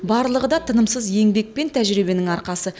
барлығы да тынымсыз еңбек пен тәжірибенің арқасы